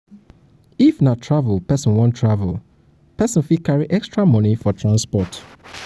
if na if na travel person wan travel person fit carry extra money for transport